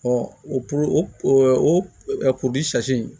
o o